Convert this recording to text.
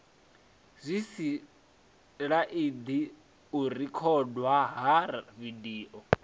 zwisilaidi u rekhodwa ha vidio